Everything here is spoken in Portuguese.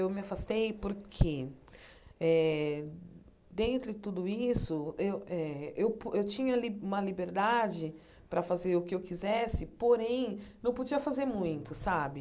Eu me afastei porque eh, dentro de tudo isso eu eh, eu tinha uma liberdade para fazer o que eu quisesse, porém, não podia fazer muito, sabe?